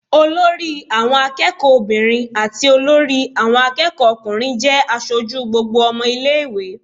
Olori àwọn akẹ́kọ̀ọ́ obìnrin àti olórí àwọn akẹ́kọ̀ọ́ ọkùnrin jẹ́ aṣojú gbogbo ọmọ ilé ìwé.